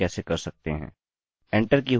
enter की हुई value database से चेक होगी